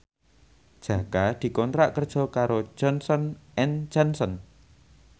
Jaka dikontrak kerja karo Johnson and Johnson